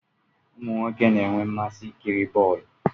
Umu nwoke na enwe mmasị ị kiri bọọlụ